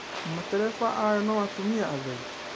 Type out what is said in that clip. Matereba ayo no atũmĩa atherĩ